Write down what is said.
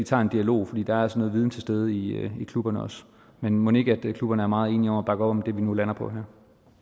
tager en dialog for der er altså noget viden til stede i klubberne også men mon ikke klubberne er meget enige om op om det vi nu lander på her